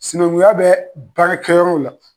Sinankunya bɛ baarakɛyɔrɔw la